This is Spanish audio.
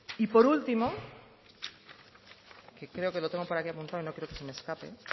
y por último que creo que lo tengo por aquí apuntado y no quiero que se me escape